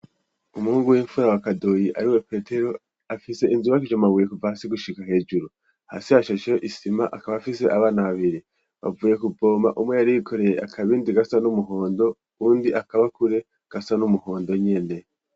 umuhungu w'imfura wa kadoyi ari we petero afise inzu yubakishije amabuye kuva hasi gushiga hejuru hasi hashasheyo isima akaba afise abana babiri bavuye ku voma umwe yari yikoreye akabindi gasa n'umuhondo undi akabakure gasa n'umuhondo nyene.